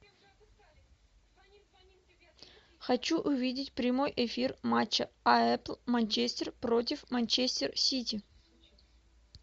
хочу увидеть прямой эфир матча апл манчестер против манчестер сити